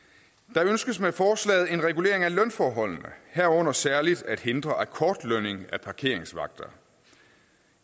der ønskes med forslaget en regulering af lønforholdene herunder særlig at hindre akkordaflønning af parkeringsvagter